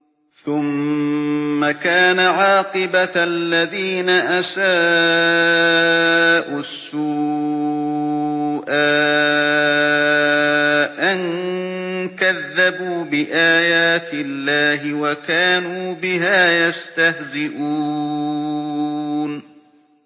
ثُمَّ كَانَ عَاقِبَةَ الَّذِينَ أَسَاءُوا السُّوأَىٰ أَن كَذَّبُوا بِآيَاتِ اللَّهِ وَكَانُوا بِهَا يَسْتَهْزِئُونَ